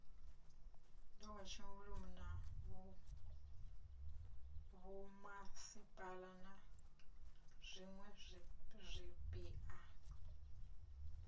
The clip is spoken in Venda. na vhomasipala na zwiwe zwipia